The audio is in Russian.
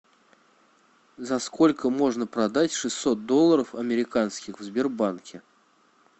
за сколько можно продать шестьсот долларов американских в сбербанке